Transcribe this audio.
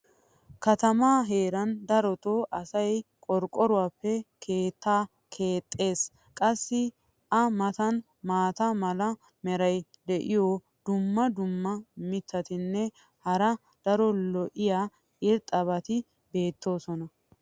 katamaa heeran darotoo asay qorqqoruwaappe keettaa keexxees. qassi a matan maata mala meray diyo dumma dumma mitatinne hara daro lo'iya irxxabati beetoosona.